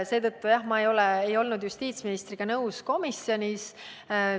Seetõttu, jah, ma ei olnud justiitsministriga komisjonis nõus.